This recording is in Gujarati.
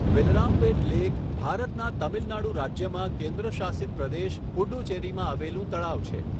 વેલરામપેટ લેક ભારતના તમિલનાડુ રાજ્યમાં કેન્દ્રશાસિત પ્રદેશ પુડ્ડુચેરીમાં આવેલું તળાવ છે.